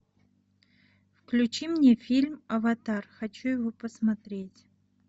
включи мне фильм аватар хочу его посмотреть